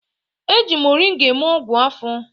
E ji moringa eme ọgwụ afọ